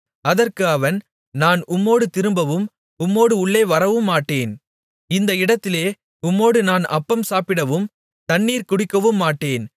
அதற்கு அவன் நான் உம்மோடு திரும்பவும் உம்மோடு உள்ளே வரவுமாட்டேன் இந்த இடத்திலே உம்மோடு நான் அப்பம் சாப்பிடவும் தண்ணீர் குடிக்கவுமாட்டேன்